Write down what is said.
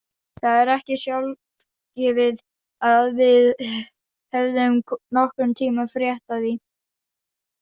Það er ekki sjálfgefið að við hefðum nokkurn tímann frétt af því.